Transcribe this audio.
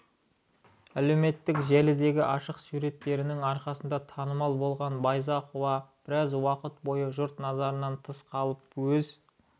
әлеуметтік желідегі ашық суреттерінің арқасында танымал болған байзақова біраз уақыт бойы жұрт назарынан тыс қалып өз